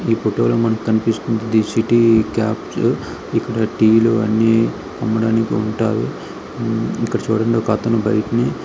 ఈ ఫోటో లో మనం కనిపిస్తున్నది. సిటీ క్యాప్చ ఇక్కడ టీ లు అన్ని అమ్మడానికి ఉంటాయి. ఇక్కడ చూడండి ఒకతను బైక్ ని--